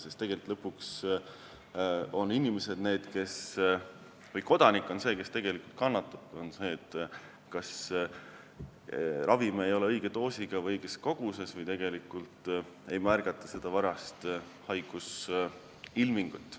Sest tegelikult on kodanik lõpuks see, kes kannatab, kui talle määratud ravim ei ole õiges doosis, täpses koguses või siis ei märgata seda varajast haigusilmingut.